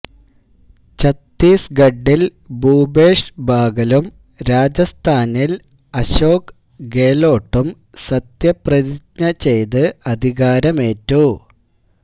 ഛത്തീസ്ഗഡിൽ ഭൂപേഷ് ബാഗലും രാജസ്ഥാനിൽ അശോക് ഗേലോട്ടും സത്യപ്രതിജ്ഞ ചെയ്ത് അധികാരമേറ്റു